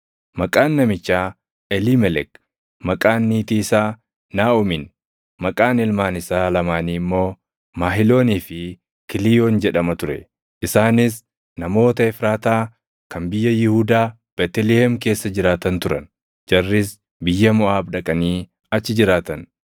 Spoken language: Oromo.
Maqaan namichaa Eliimelek, maqaan niitii isaa Naaʼomiin, maqaan ilmaan isaa lamaanii immoo Mahiloonii fi Kiliiyoon jedhama ture. Isaanis namoota Efraataa kan biyya Yihuudaa Beetlihem keessa jiraatan turan. Jarris biyya Moʼaab dhaqanii achi jiraatan.